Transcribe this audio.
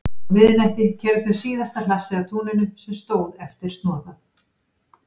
Á miðnætti keyrðu þau síðasta hlassið af túninu sem stóð eftir snoðað.